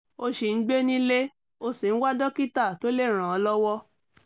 ó ṣì ń gbé nílé ó sì ń wá dókítà tó lè ràn án lọ́wọ́